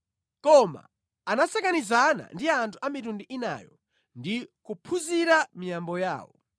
Koma anasakanizana ndi anthu a mitundu inayo ndi kuphunzira miyambo yawo.